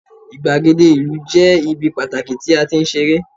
igbagede ìlú je ibi pataki ti a ti n sere